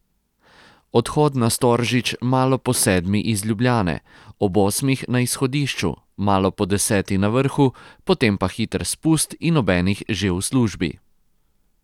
Odhod na Storžič malo po sedmi iz Ljubljane, ob osmih na izhodišču, malo po deseti na vrhu, potem pa hiter spust in ob enih že v službi.